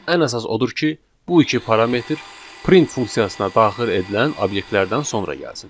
Ən əsas odur ki, bu iki parametr print funksiyasına daxil edilən obyektlərdən sonra gəlsin.